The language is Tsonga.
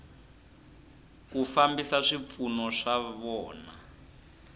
ku fambisa swipfuno swa vona